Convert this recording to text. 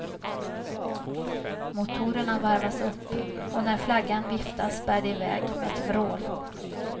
Motorerna varvas upp och när flaggan viftas bär det iväg med ett vrål.